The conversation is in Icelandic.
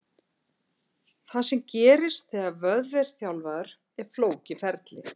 Það sem gerist þegar vöðvi er þjálfaður er flókið ferli.